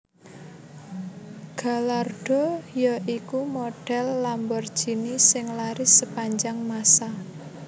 Gallardo ya iku model Lamborghini sing laris sepanjang masa